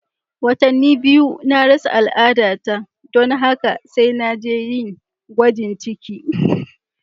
Watanni biyu na rasa al'adata don haka sai da na je yin gwajin ciki.